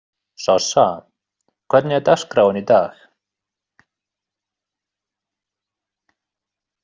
Sossa, hvernig er dagskráin í dag?